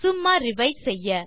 சும்மா ரிவைஸ் செய்ய